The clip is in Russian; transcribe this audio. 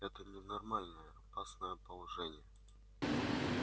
это ненормальное опасное положение